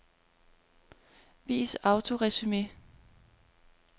Vis autoresumé.